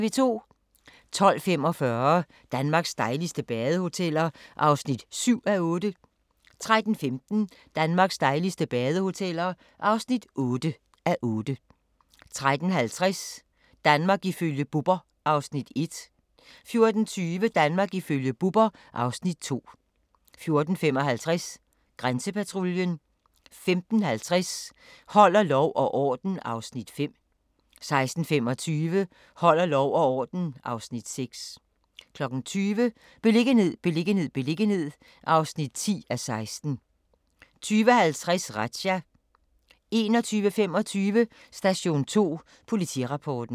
12:45: Danmarks dejligste badehoteller (7:8) 13:15: Danmarks dejligste badehoteller (8:8) 13:50: Danmark ifølge Bubber (Afs. 1) 14:20: Danmark ifølge Bubber (Afs. 2) 14:55: Grænsepatruljen 15:50: Holder lov og orden (Afs. 5) 16:25: Holder lov og orden (Afs. 6) 20:00: Beliggenhed, beliggenhed, beliggenhed (10:16) 20:50: Razzia 21:25: Station 2 Politirapporten